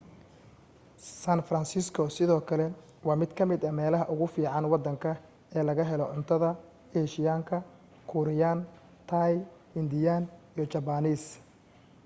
san francisco sidoo kale waa mid ka mida meelaha ugu fiican waddanka ee laga helo cuntada eeshiyaanka kuuriyaan taay hindiyaan iyo jabbaaniis